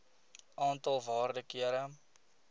aantal waarde kere